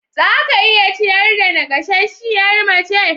Za ka iya ciyar da naƙasasshiyar mace.